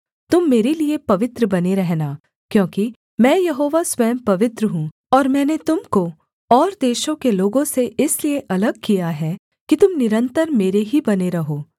तुम मेरे लिये पवित्र बने रहना क्योंकि मैं यहोवा स्वयं पवित्र हूँ और मैंने तुम को और देशों के लोगों से इसलिए अलग किया है कि तुम निरन्तर मेरे ही बने रहो